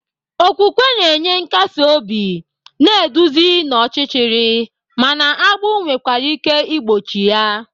Okwukwe na-enye nkasi obi, na-eduzi n'ọchịchịrị, mana agbụ nwekwara ike igbochi ya.